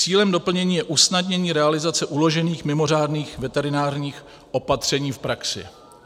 Cílem doplnění je usnadnění realizace uložených mimořádných veterinárních opatření v praxi.